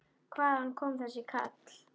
Hvaðan kom þessi kall?